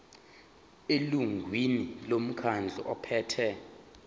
elungwini lomkhandlu ophethe